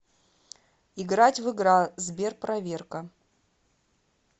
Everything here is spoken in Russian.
играть в игра сберпроверка